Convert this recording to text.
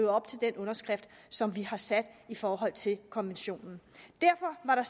op til den underskrift som vi har sat i forhold til konventionen derfor var